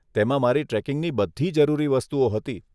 તેમાં મારી ટ્રેકિંગની બધી જરૂરી વસ્તુઓ હતી.